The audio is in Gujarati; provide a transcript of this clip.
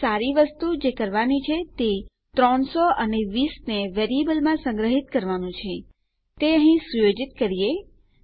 એક સારી વસ્તુ જે કરવાની છે તે 300 અને 20 ને વેરીએબલોમાં સંગ્રહીત કરવાનું છે તે અહીં સુયોજિત કરીએ